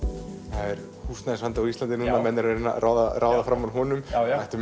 það er húsnæðisvandi á Íslandi og menn að reyna að ráða ráða fram úr honum ættu